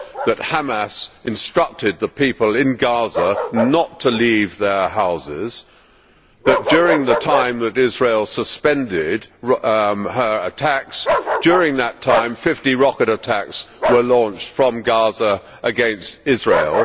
That Hamas instructed the people in Gaza not to leave their houses and that during the time that Israel suspended her attacks, during that time, fifty rocket attacks were launched from Gaza against Israel?